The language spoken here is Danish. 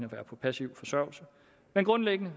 være på passiv forsørgelse men grundlæggende